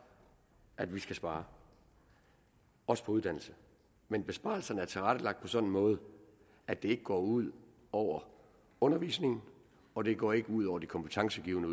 at vi skal spare også på uddannelse men besparelserne er tilrettelagt på en sådan måde at det ikke går ud over undervisningen og det går ikke ud over de kompetencegivende